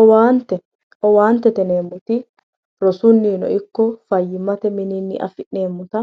Owaante, owaantete yineemmoti rosunnino ikko fayyimmate mininni afi'neemmota